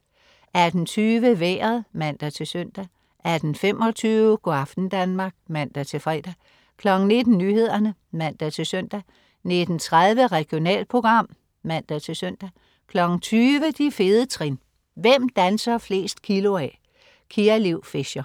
18.20 Vejret (man-søn) 18.25 Go' aften Danmark (man-fre) 19.00 Nyhederne (man-søn) 19.30 Regionalprogram (man-søn) 20.00 De fede trin. Hvem danser flest kilo af? Kia Liv Fischer